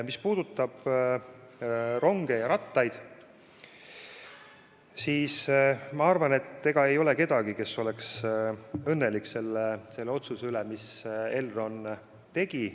Mis aga puudutab ronge ja rattaid, siis ilmselt ei ole kedagi, kes on õnnelik selle otsuse üle, mis Elron tegi.